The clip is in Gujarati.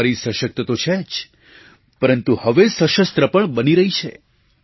નારી સશક્ત તો છે જ પરંતુ હવે સશસ્ત્ર પણ બની રહી છે